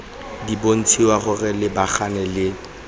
di bontshiwa go lebagana le